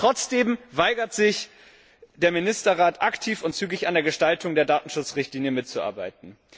Trotzdem weigert sich der Ministerrat, aktiv und zügig an der Gestaltung der Datenschutzrichtlinie mitzuarbeiten.